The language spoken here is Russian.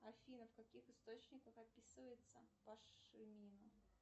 афина в каких источниках описывается пашмина